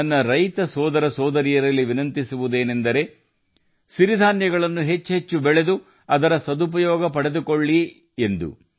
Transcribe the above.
ನನ್ನ ರೈತ ಬಂಧುಗಳು ರಾಗಿ ಅಂದರೆ ಸಿರಿಧಾನ್ಯಗಳನ್ನು ಹೆಚ್ಚು ಹೆಚ್ಚು ಬಳಸಿ ಅದರ ಪ್ರಯೋಜನ ಪಡೆಯಬೇಕೆಂಬುದು ನನ್ನ ವಿನಂತಿ